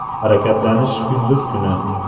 Harakatlanish kunduz kuni.